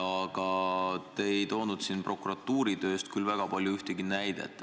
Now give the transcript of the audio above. Aga te ei toonud siin prokuratuuri tööst küll ühtegi näidet.